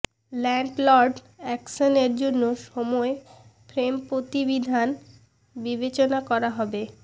landlord অ্যাকশনের জন্য সময় ফ্রেম প্রতিবিধান বিবেচনা করা হবে